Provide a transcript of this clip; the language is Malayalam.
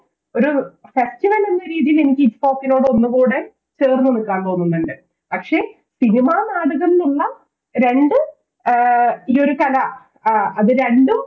ഒരു എന്ന രീതിയില് എനിക്ക് ITFOK നോടൊന്നുകൂടെ ചേർന്ന് നിൽക്കാൻ തോന്നുന്നുണ്ട് പക്ഷെ സിനിമ നാടകം ന്നുള്ള രണ്ട് ഈയൊരു കല ആ അത് രണ്ടും